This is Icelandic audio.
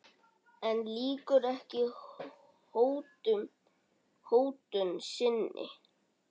En lýkur ekki hótun sinni.